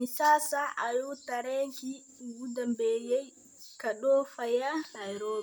immisa saac ayuu tareenkii ugu dambeeyay ka dhoofayaa nairobi